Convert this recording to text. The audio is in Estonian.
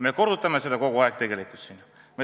Me korrutame seda kogu aeg.